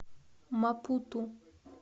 мапуту